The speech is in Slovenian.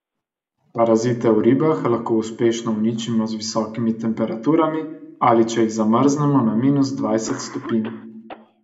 Parazite v ribah lahko uspešno uničimo z visokimi temperaturami ali če jih zamrznemo na minus dvajset stopinj.